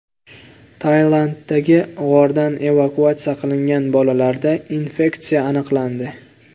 Tailanddagi g‘ordan evakuatsiya qilingan bolalarda infeksiya aniqlandi.